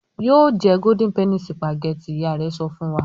"Yóò jẹ Golden penny sìpàgẹ́tì!" Ìyá rẹ̀ sọ fún wa.